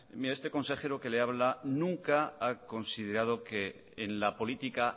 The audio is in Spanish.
mire este consejero que le habla nunca ha considerado que en la política